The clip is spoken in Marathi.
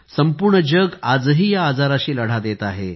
संपूर्ण जग आजही या आजाराशी लढा देत आहे